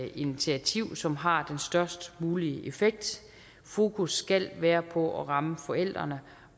et initiativ som har den størst mulige effekt fokus skal være på at ramme forældrene